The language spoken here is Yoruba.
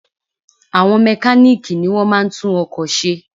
Àwọn mekáníìkì ni wọ́n máa ń tún ọkò se